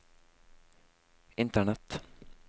internett